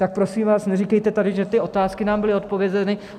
Tak prosím vás neříkejte tady, že ty otázky nám byly odpovězeny.